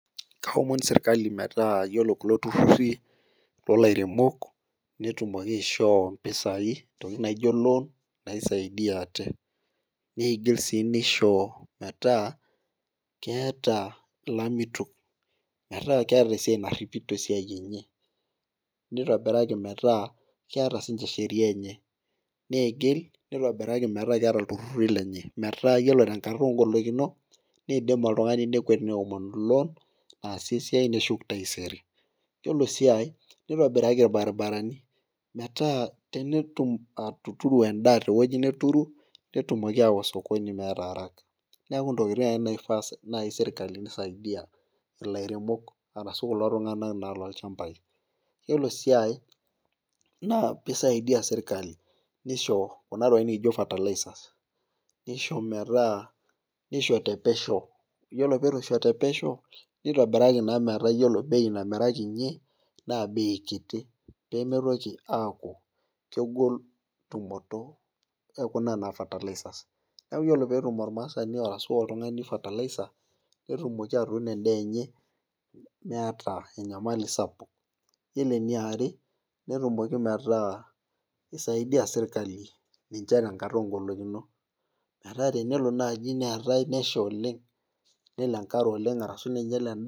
Aomon sirkali metaa iyiolo kulo tururi, loolairemok , netumoki aishoo mpisai ntokitin naijo loan naisaidia. neidim sii nisho metaa, keeta ilamitok, metaa keeta esiai naripito esiai enye. nitobiraki metaa keeta sii ninche sheria enye. neigil, nitobiraki metaa keeta iltururi lenye. metaa ore tenkata oogolikinot neidim oltungani nekuet neomonu loan naasie esiai neshuku taaisere. iyiolo sii ae nitobiraki irbaribarani, metaa. tenidim atuturu edaa te wueji neturu, netumoki s aawa sokoni meeta araka. neeku intokitin ake naifaa naaji sirkali neisaidia. ilairemok arashu kulo tungana naa loolchampai. iyiolo sii ae naa pee isaidia sirkali, nisho Kuna tokitin naijo fertilizers. nisho metaa, nisho te pesho. iyiolo peeitu isho te pesho. nitobiraki naa metaa iyiolo bei namirakinyie, naa bei kiti, pee mitoki aaku kegol, tumoto ekuna tokitin anaa fertilizers neeku ore peetum ormaasani ashu oltungani fertilizer netumoki atuunk edaa enye. neeta enyamali sapuk. iyioo eniare, netumoki metaa isaidia sirkali, ninche tenkata oogolikinot. metaa tenelo naaji neetae nesha oleng, ashu nelo enkare oleng neetae.